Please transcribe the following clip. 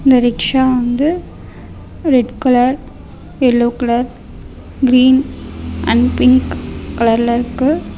இந்த ரிக்ஷா வந்து red colour yellow colour green and pink கலர்ல இருக்கு.